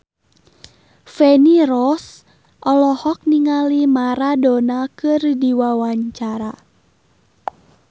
Feni Rose olohok ningali Maradona keur diwawancara